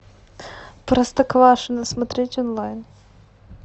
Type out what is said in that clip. простоквашино смотреть онлайн